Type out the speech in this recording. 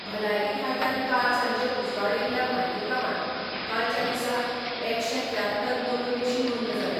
भलायकी खात्यान काल सांजे उजवाडायिल्ले म्हायती प्रमाण कालच्या दिसा एकशे त्र्यात्तर नव्यो केशी नोंद जाल्यात.